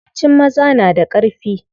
Yawancin maza na da ƙarfi.